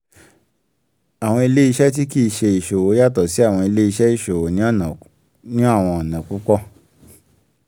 àwọn ilé-iṣẹ́ tí kì í ṣé iṣòwò yàtọ̀ sí àwọn ilé--iṣẹ́ iṣòwò ní àwọn ọ̀nà púpọ̀.